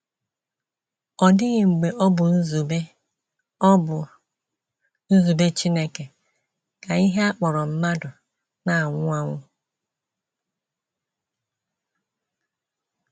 Ọ dịghị mgbe ọ bụ nzube ọ bụ nzube Chineke ka ihe a kpọrọ mmadụ na - anwụ anwụ.